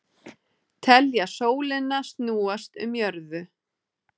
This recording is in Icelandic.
Telja sólina snúast um jörðu